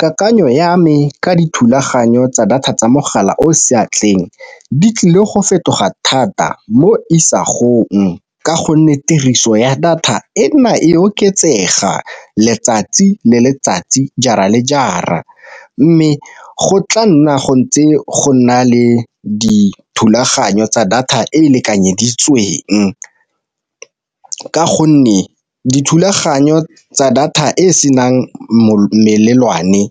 Kakanyo ya me ka dithulaganyo tsa data tsa mogala o seatleng di tlile go fetoga thata mo isagong, ka gonne tiriso ya data e nna e oketsega letsatsi le letsatsi jara le jara. Mme go tla nna go ntse go nna le dithulaganyo tsa data e e lekanyeditsweng, ka gonne dithulaganyo tsa data e e senang melelwane